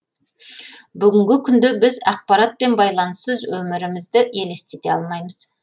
бүгінгі күнде біз ақпарат пен байланыссыз өмірі мізді елестете алмаймыз